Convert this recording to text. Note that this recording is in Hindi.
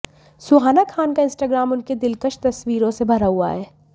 सुहाना खान का इंस्टाग्राम उनके दिलकश तस्वीरों से भरा हुआ है